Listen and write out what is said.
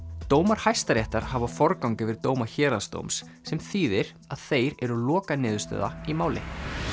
dómar Hæstaréttar hafa forgang yfir dóma héraðsdóms sem þýðir að þeir eru lokaniðurstaða í máli